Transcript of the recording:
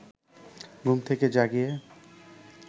ঘুম থেকে জাগিয়ে